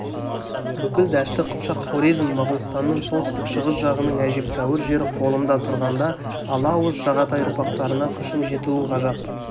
бүкіл дәшті қыпшақ хорезм моғолстанның солтүстік-шығыс жағының әжептәуір жері қолымда тұрғанда ала ауыз жағатай ұрпақтарына күшім жетуі ғажап